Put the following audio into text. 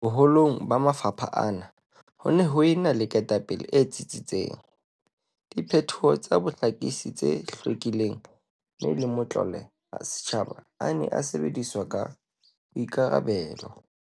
Boho long ba mafapha ana ho ne ho ena le ketapele e tsitsitseng, diphetho tsa bohlakisi tse hlwekileng mme le matlole a setjhaba a ne a sebediswa ka maikarabelo.